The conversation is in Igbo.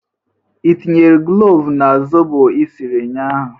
Ị tinyere klovu na zobo esiri ụnyaahụ?